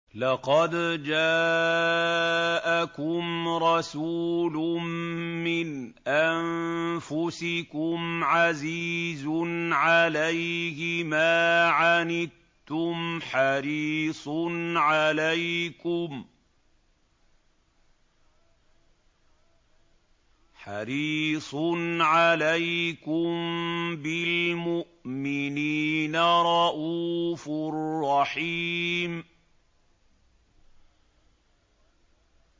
لَقَدْ جَاءَكُمْ رَسُولٌ مِّنْ أَنفُسِكُمْ عَزِيزٌ عَلَيْهِ مَا عَنِتُّمْ حَرِيصٌ عَلَيْكُم بِالْمُؤْمِنِينَ رَءُوفٌ رَّحِيمٌ